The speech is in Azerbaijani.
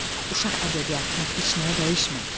Uşaq ədəbiyyatını heç nəyə dəyişmə.